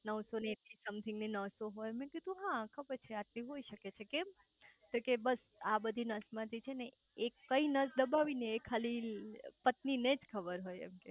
નવ સો એક સમથીંગ ની નસો હોય મેં કીધું હા ખબર છે આટલી હોય શકે છે કેમ તો કે બસ આ બધી નસો માંથી કઈ નસ દબાવી એ ખાલી પત્ની ને જ ખબર હોય એમ કે